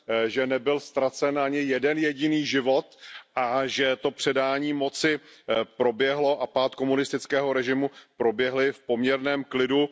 že nebyl ztracen ani jeden jediný život a že to předání moci a pád komunistického režimu proběhly v poměrném klidu.